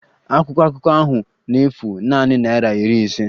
Akwụkwọ akụkọ ahụ na-efu nanị naịra iri ise